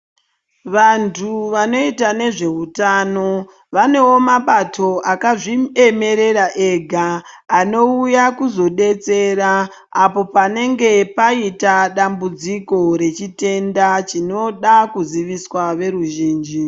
Vantu vanoita nezveutano vanewo mabato akazviemerera ega anouya kuzodetsera apo panenge paita dambudziko rechitenda chinoda kuziviswa veruzhinji.